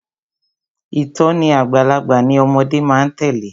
Ìtòní àgbàlagbà ni ọmọde má a tèlé.